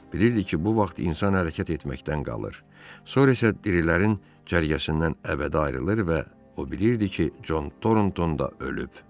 Bilirdi ki, bu vaxt insan hərəkət etməkdən qalır, sonra isə dirilərin cərgəsindən əbədi ayrılır və o bilirdi ki, Con Tornton da ölüb.